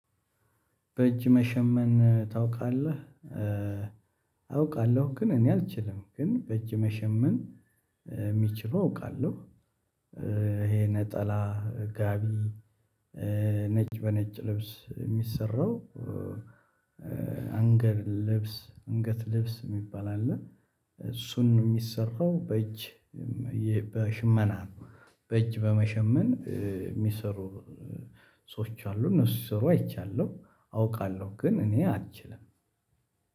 በእጅ መሸመን ታውቃለህ? አውቃለሁ ግን እኔ አልችልም ግን በእጅ መሸመን የሚችሉ አውቃለሁ። ይሄ ነጠላ ጋቢ ነጭ በነጭ ልብስ የሚሰራው። አንገድ ልብስ አንገት ልብስ የሚባል አለ። እሱን የሚሰራው በእጅ በሽመና ነው። በእጅ በመሸመን የሚሰሩ ሰዎች አሉ እነሱ ሲሰሩ አይቻለሁ አውቃለሁ። ግን እኔ አልችልም።